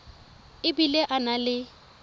e bile a na le